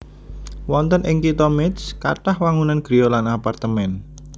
Wonten ing Kitha Métz kathah wangunan griya lan apartemén